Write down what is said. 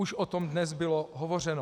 Už o tom dnes bylo hovořeno.